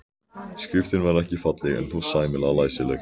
Skriftin var ekki falleg en þó sæmilega læsileg.